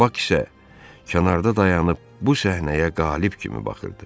Bak isə kənarda dayanıb bu səhnəyə qalib kimi baxırdı.